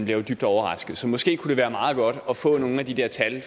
jo dybt overrasket så måske kunne det være meget godt at få nogle af de der tal